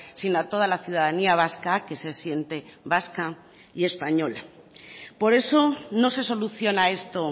sino a toda la ciudadanía vasca que se siente vasca y española por eso no se soluciona esto